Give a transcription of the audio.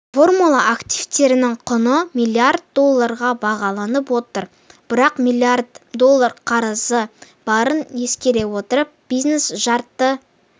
формула активтерінің құны миллиард долларға бағаланып отыр бірақ миллиард доллар қарызы барын ескере отырып бизнес жарты